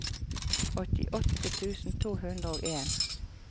åttiåtte tusen to hundre og en